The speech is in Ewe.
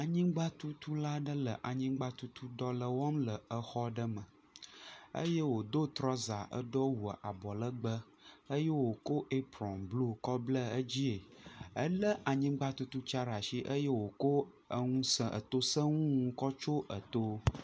Anyigba tutu la ɖe le anyigba tutu dɔ le wɔm le exɔ ɖe me, eye wo do trɔza, edo awu abɔ legbee, eye wo ko eprɔn blu kɔ ble edzie, elé anyigba tutu tsia ɖe ashi eye wo ko eto seŋu ŋu kɔ tso eto.